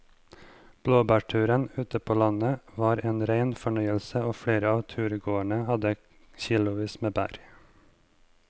Blåbærturen ute på landet var en rein fornøyelse og flere av turgåerene hadde kilosvis med bær.